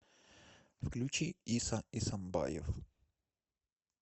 включи иса эсамбаев